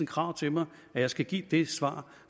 krav til mig at jeg skal give det svar